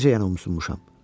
Necə yəni umusunmuşam?